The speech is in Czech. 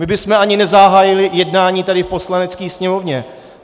My bychom ani nezahájili jednání tady v Poslanecké sněmovně.